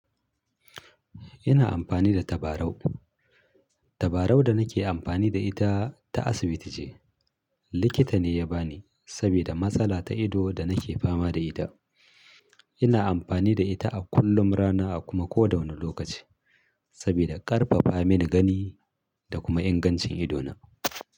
Ina amfani da tabarau. Tabarau da nake amfani da ita ta asibiti ce. Likita ne ya bani saboda matsala ta ido da nake fama da ita. Ina amfani da ita a kullum, rana a kuma koda wani lokaci saboda ƙarfafa mani gani da kuma ingancin idona.